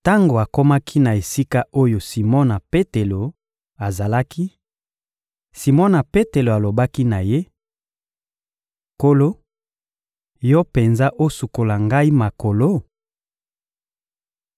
Tango akomaki na esika oyo Simona Petelo azalaki, Simona Petelo alobaki na Ye: — Nkolo, Yo penza osukola ngai makolo?